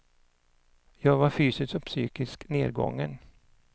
Jag var fysiskt och psykiskt nergången.